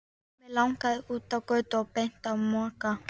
Mig langaði út á götu og beint á Mokka.